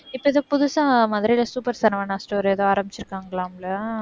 இப்ப இது புதுசா மதுரையில சூப்பர் சரவணா ஸ்டோர் ஏதோ ஆரம்பிச்சிருக்காங்கலாம்ல